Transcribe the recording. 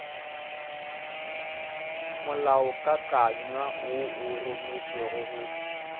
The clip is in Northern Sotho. molaokakanywa wo o rometšwego go